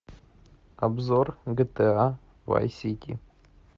обзор гта вай сити